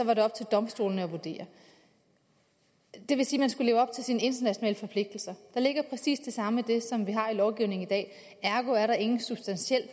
var det op til domstolene at vurdere det vil sige at man skulle leve op til sine internationale forpligtelser der ligger præcis det samme i det som vi har i lovgivningen i dag ergo er der ingen substantiel